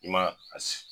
I ma a